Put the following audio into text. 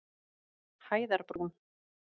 Hæðarbrún